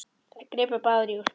Þær gripu báðar í úlpu